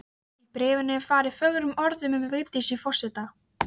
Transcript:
Í bréfinu er farið fögrum orðum um Vigdísi forseta.